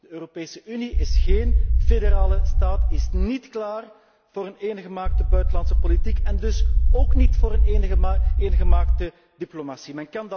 De Europese Unie is géén federale staat, is niet klaar voor een eengemaakte buitenlandse politiek en dus ook niet voor een eengemaakte diplomatie.